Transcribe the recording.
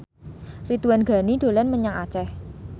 Ridwan Ghani dolan menyang Aceh